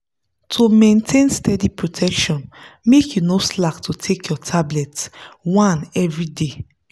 to maintain steady protection make you no slack to take your tablet. one everyday.